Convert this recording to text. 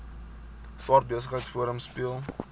swart besigheidsforum speel